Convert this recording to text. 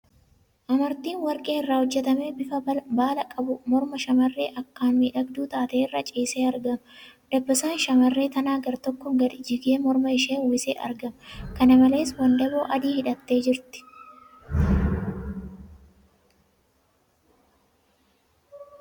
Amartiin warqee irraa hojjatame bifa baalaa qabu morma shamarree akkaan miidhagduu taatee irra ciisee argama . Dabasaan shamarree tanaa gartokkoon gadi jigee morma ishee uwwisee argama . Kana malees, wandaboo adii hidhattee jirti.